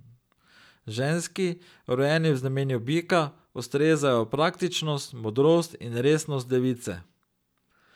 Ženski, rojeni v znamenju bika, ustrezajo praktičnost, modrost in resnost device.